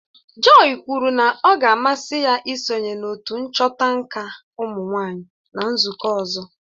Joy kwuru na ọ ga-amasị ya isonye na otu nchọta nka ụmụnwaanyị na nzụkọ ọzọ